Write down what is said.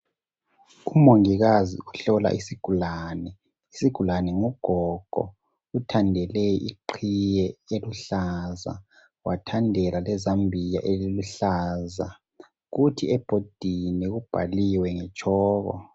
Umongikazi uhlola isigulane. Isigulane ngugogo, uthandele iqhiye eluhlaza wathandela lezambuya eliluhlaza. Kuthi ebhodini kubhaliwe ngetshoko.